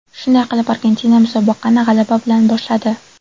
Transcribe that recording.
Shunday qilib, Argentina musobaqani g‘alaba bilan boshladi.